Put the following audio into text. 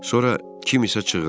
Sonra kim isə çığırdı.